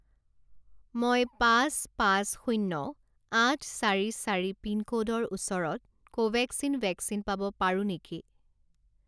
মই পাঁচ পাঁচ শূণ্য আঠ চাৰি চাৰি পিনক'ডৰ ওচৰত কোভেক্সিন ভেকচিন পাব পাৰোঁ নেকি?